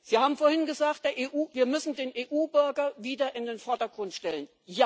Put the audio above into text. Sie haben vorhin gesagt, wir müssen den EU Bürger wieder in den Vordergrund stellen.